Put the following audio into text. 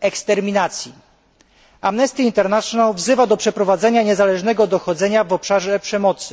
eksterminacji. Amnesty International wzywa do przeprowadzenia niezależnego dochodzenia w obszarze przemocy.